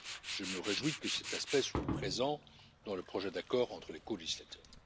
Je me réjouis que cet aspect soit présent dans le projet d'accord entre les colégislateurs.